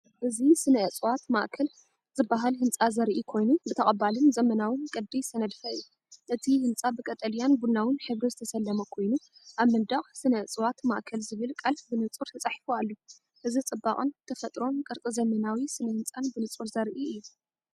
እዚ፡ “ስነ-ዕጽዋት ማዕከል”ዝበሃል ህንጻ ዘርኢ ኮይኑ፡ ብተቐባሊን ዘመናውን ቅዲ ዝተነድፈ እዩ። እቲ ህንጻ ብቀጠልያን ቡናውን ሕብሪ ዝተሰለመ ኮይኑ፡ ኣብ መንደቕ “ስነ-ዕጽዋት ማዕከል'ዝብል ቃል ብንጹር ተጻሒፉ ኣሎ። እዚ ጽባቐ ተፈጥሮን ቅርጺ ዘመናዊ ስነ ህንጻን ብንጹር ዘርኢ እዩ።